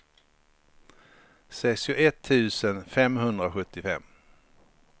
sextioett tusen femhundrasjuttiofem